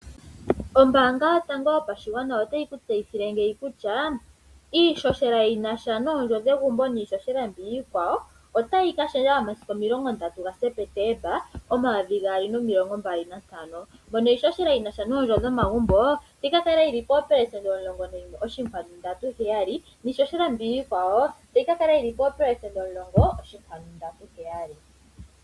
Ombaanga Yotango Yopashigwana otayi ku tseyithile ngeyi kutya iihohela yi na sha nomukuli gwegumbo noshowo omikuli dhilwe, otayi ka lunduluka momasiku 30 Septemba 2025. Mono iihohela yomikuli dhomagumbo tayi ka kala yi li poopelesenda 11.37 niihohela yilwe otayi ka kala yi li poopelesenda 10.37.